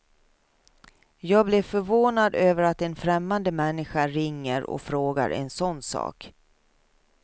Jag blev förvånad över att en främmande människa ringer och frågar en sådan sak.